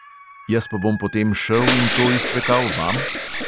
Jaz pa bom potem šel in to izčvekal vam?!